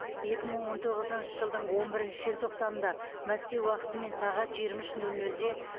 екі мың он тоғызыншы жылдың он бірінші желтоқсанында мәскеу уақытымен сағат жиырма үш нөл нөлде